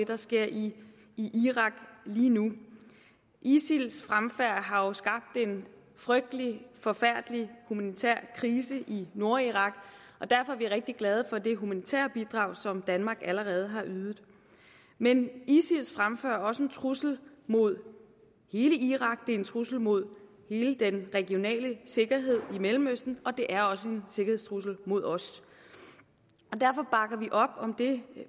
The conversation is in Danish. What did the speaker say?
der sker i irak lige nu isils fremfærd har jo skabt en frygtelig forfærdelig humanitær krise i nordirak og derfor er vi rigtig glade for det humanitære bidrag som danmark allerede har ydet men isils fremfærd er også en trussel mod hele irak det er en trussel mod hele den regionale sikkerhed i mellemøsten og det er også en sikkerhedstrussel mod os derfor bakker vi op om det